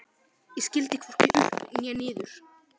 Ég skildi hvorki upp né niður.